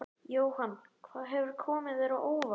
Jóhann: Hvað hefur komið þér á óvart?